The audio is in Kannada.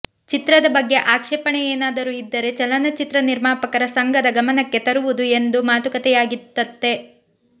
ಚಿತ್ರದ ಬಗ್ಗೆ ಆಕ್ಷೇಪಣೆ ಏನಾದರೂ ಇದ್ದರೆ ಚಲನಚಿತ್ರ ನಿರ್ಮಾಪಕರ ಸಂಘದ ಗಮನಕ್ಕೆ ತರುವುದು ಎಂದು ಮಾತುಕತೆಯಾಗಿತ್ತಂತೆ